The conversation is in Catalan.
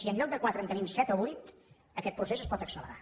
si en lloc de quatre en tenim set o vuit aquest procés es pot accelerar